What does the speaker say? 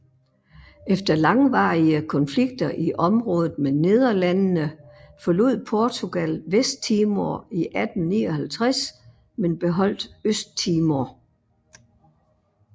Efter langvarige konflikter i området med Nederlandene forlod Portugal Vesttimor i 1859 men beholdt Østtimor